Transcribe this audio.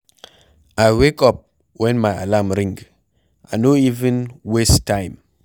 I wake up wen my alarm ring, I no even waste time.